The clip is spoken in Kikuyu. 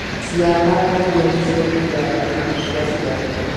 Ciana kaingĩ nĩcio igayaga indo cia aciari